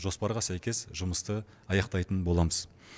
жоспарға сәйкес жұмысты аяқтайтын боламыз